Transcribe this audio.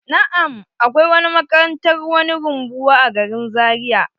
Na'am, akwai makarantar wani rumbuwa a garin zaria.